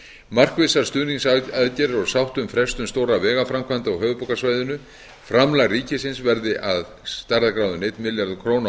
markvissar stuðningsaðgerðir og sátt um frestun stórra vegaframkvæmda á höfuðborgarsvæðinu framlag ríkisins verði af stærðargráðunni einn milljarður króna á